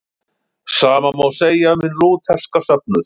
Sama má segja um hinn lútherska söfnuð.